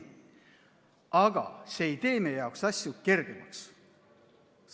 Aga see ei tee meie jaoks asju kergemaks.